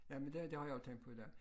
Jamen det det har jeg også tænkt på i dag